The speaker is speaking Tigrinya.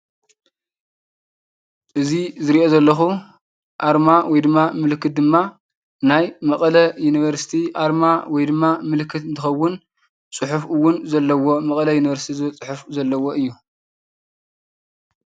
እዚ ዝረኦ ዘለኩ ኣርማ ወይ ድማ ምልክት ድማ ናይ መቐለ ዩኒቨርሲቲ ኣርማ ወይ ድማ ምልክት እንትኸውን ፁሑፍ እውን ዘለዎ መቐለ ዩኒቨርስቲ ዝብል ዘለዎ እዩ።